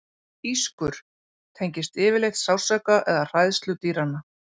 Ískur: tengist yfirleitt sársauka eða hræðslu dýranna.